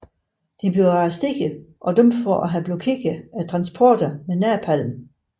De blev arresteret og dømt for at have blokeret transporter med napalm